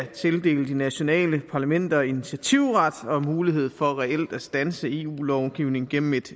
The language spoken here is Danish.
tildele de nationale parlamenter initiativret og mulighed for reelt at standse eu lovgivning gennem et